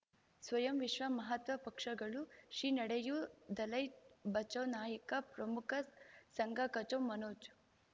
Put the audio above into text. ಸ್ವಯಂ ವಿಶ್ವ ಮಹಾತ್ಮ ಪಕ್ಷಗಳು ಶ್ರೀ ನಡೆಯೂ ದಲೈ ಬಚೌ ನಾಯಕ ಪ್ರಮುಖ ಸಂಘ ಕಚ್ಚು ಮನೋಜ್